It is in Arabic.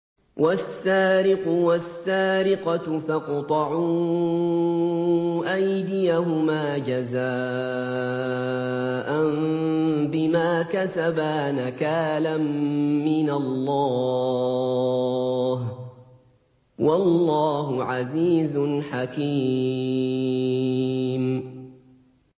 وَالسَّارِقُ وَالسَّارِقَةُ فَاقْطَعُوا أَيْدِيَهُمَا جَزَاءً بِمَا كَسَبَا نَكَالًا مِّنَ اللَّهِ ۗ وَاللَّهُ عَزِيزٌ حَكِيمٌ